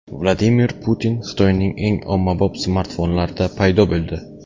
Vladimir Putin Xitoyning eng ommabop smartfonlarida paydo bo‘ldi.